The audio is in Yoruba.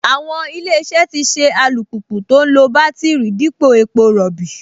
Àwọn Ilé-iṣẹ́ tì ṣe alùpùpù tó ń lo bátíìrì dípò epo rọ̀bì